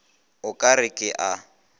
o ka re ke a